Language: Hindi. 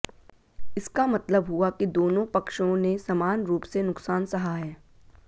इसका मतलब हुआ कि दोनों पक्षों ने समान रूप से नुकसान सहा है